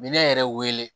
Minɛn yɛrɛ wele